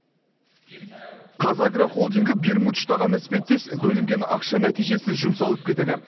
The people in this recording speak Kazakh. қазагро холдингі бермуд үштағаны іспеттес бөлінген ақша нәтижесіз жұмсалып кетеді